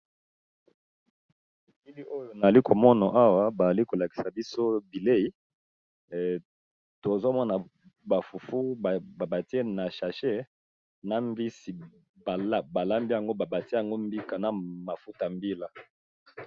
Kili oyo na ali komono awa bazali kolakisa biso bilei tozomona ba fufu ba batie na sashe na mbisi balambi yango ba batie yango mbika na mafuta ya mbila.